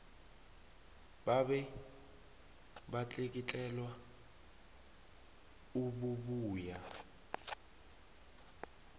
babe batlikitlelwa obubuya